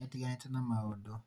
nĩ atĩganĩte na maũndũ